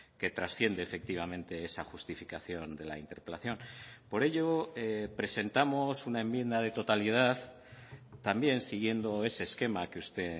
que trasciende efectivamente esa justificación de la interpelación por ello presentamos una enmienda de totalidad también siguiendo ese esquema que usted